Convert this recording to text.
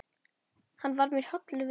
Hann var mér hollur vinur.